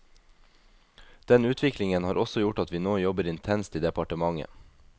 Den utviklingene har også gjort at vi nå jobber intenst i departementet.